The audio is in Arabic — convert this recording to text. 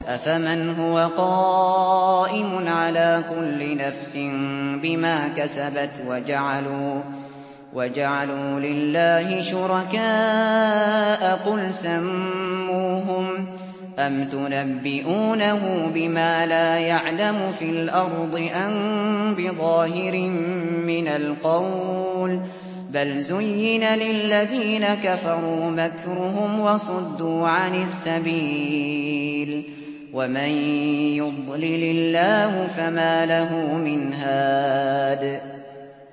أَفَمَنْ هُوَ قَائِمٌ عَلَىٰ كُلِّ نَفْسٍ بِمَا كَسَبَتْ ۗ وَجَعَلُوا لِلَّهِ شُرَكَاءَ قُلْ سَمُّوهُمْ ۚ أَمْ تُنَبِّئُونَهُ بِمَا لَا يَعْلَمُ فِي الْأَرْضِ أَم بِظَاهِرٍ مِّنَ الْقَوْلِ ۗ بَلْ زُيِّنَ لِلَّذِينَ كَفَرُوا مَكْرُهُمْ وَصُدُّوا عَنِ السَّبِيلِ ۗ وَمَن يُضْلِلِ اللَّهُ فَمَا لَهُ مِنْ هَادٍ